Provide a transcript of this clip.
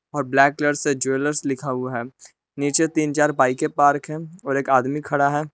और black colour से jewellers लिखा हुआ है नीचे तीन बाईके पार्क हैं और एक आदमी खड़ा है।